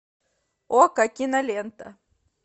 окко кинолента